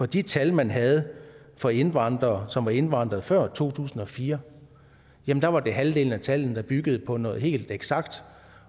de tal man havde for indvandrere som var indvandret før to tusind og fire var det halvdelen af tallene der byggede på noget helt eksakt